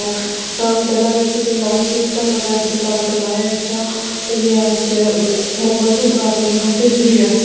দেখা যাচ্ছে যে লাল শুটটা পরে আছে তার গলায় একটা ওই ইয়ে আসে মঙ্গলসূত্র আসে ও একটা চুড়ি আসে।